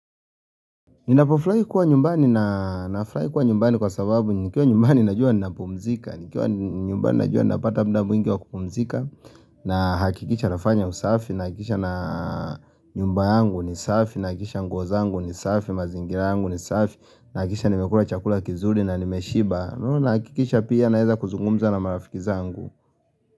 Ninapo furahi kuwa nyumbani na furahi kuwa nyumbani kwa sababu nikiwa nyumbani najua ninapumzika, nikiwa nyumbani najua napata muda mwingiwa kupumzika, na hakikisha nafanya usafi, na hakikisha na nyumba yangu ni safi, na hakikisha nguo zangu ni safi, mazingira yangu ni safi, na hakikisha nimekula chakula kizuri na nimeshiba, na hakikisha pia na weza kuzungumza na marafikiza zangu.